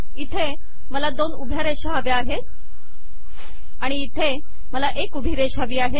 इथे मला दोन उभ्या रेषा हव्या आहेत आणि इथे मला एक उभी रेषा हवी आहे